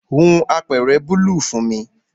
Hun apeere bùúlù fun mi